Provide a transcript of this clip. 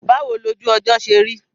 Báwo lojú ọjọ́ ṣe rí?